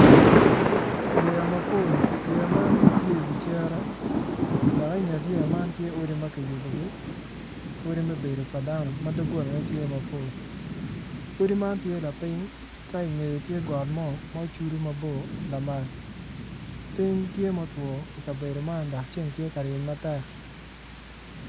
Yeya mapol yeya man gitye i wi cere dok i nget yeya man tye odi makiyubogi odi ma obedo padano madogola ne tye mapol odi man tye lapiny ka i nge tye got mo ma ocudo mabor lamal ping tye ma otwo ikabedo man dok ceng tye ka ryeny matek.